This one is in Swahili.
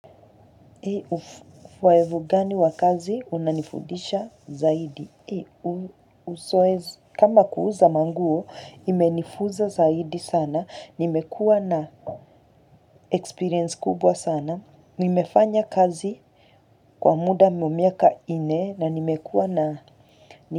Uzoefu wa gani wakazi unanifudisha zaidi? Kama kuuza manguo imenifunza zaidi sana nimekua na experience kubwa sana. Nimefanya kazi kwa muda wa miaka ine na nimekua na.